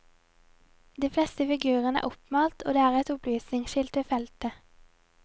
De fleste figurene er oppmalt og det er et opplysningsskilt ved feltet.